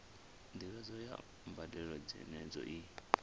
ndivhadzo ya mbadelo dzenedzo i